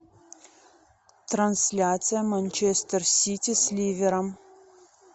трансляция манчестер сити с ливером